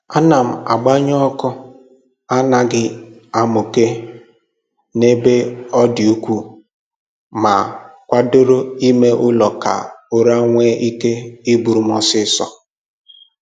Ana m agbanye ọkụ na anaghị amụke n'ebe ọdị ukwuu, ma kwadoro ime ụlọ ka ụra nwee ike iburu m ọsịịso